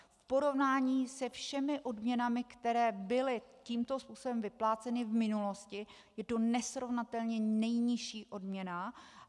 V porovnání se všemi odměnami, které byly tímto způsobem vypláceny v minulosti, je to nesrovnatelně nejnižší odměna.